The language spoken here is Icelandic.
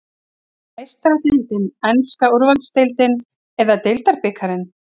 Er það Meistaradeildin, enska úrvalsdeildin eða deildarbikarinn?